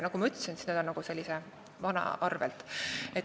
Nagu ma ütlesin, see käib rohkem nagu vana arvel.